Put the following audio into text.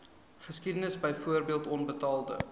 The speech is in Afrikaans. geskiedenis byvoorbeeld onbetaalde